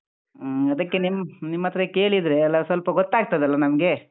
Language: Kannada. ಹ್ಮ್, ಅದಕ್ಕೆ ನಿಮ್ ಹ್ಮ್ ನಿಮ್ಮತ್ರ ಕೇಳಿದ್ರೆ ಎಲ್ಲಾ ಸ್ವಲ್ಪ ಗೊತ್ತಾಗ್ತದಲ ನಮ್ಗೆ.